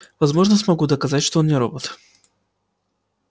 я возможно смогу доказать что он не робот